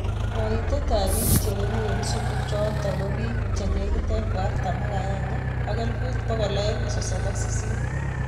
Kaitet ap piik chebeguu en sumuu chotok kobiik legit elefut artam ak agenge ak elfut pokol aenge sosom ak sisit